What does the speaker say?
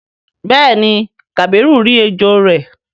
béèni kabiru rí ejó rẹ.